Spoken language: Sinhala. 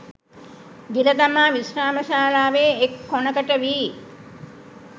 ගිල දමා විශ්‍රාම ශාලාවේ එක් කොනකට වී